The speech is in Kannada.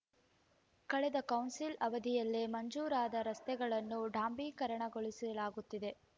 ಕಳೆದ ಕೌನ್ಸಿಲ್‌ ಅವಧಿಯಲ್ಲೇ ಮಂಜೂರಾದ ರಸ್ತೆಗಳನ್ನು ಡಾಂಬರೀಕರಣಗೊಳಿಸಲಾಗುತ್ತಿದೆ